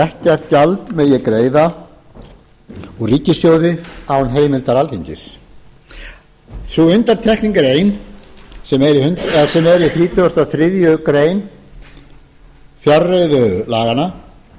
ekkert gjald megi greiða úr ríkissjóði án heimildar alþingis sú undantekning er ein sem er í þrítugasta og þriðju grein fjárreiðulaganna